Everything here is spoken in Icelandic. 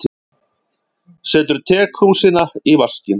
Setur tekrúsina í vaskinn.